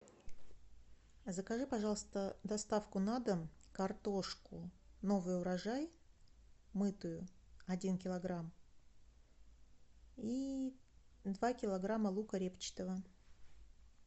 закажи пожалуйста доставку на дом картошку новый урожай мытую один килограмм и два килограмма лука репчатого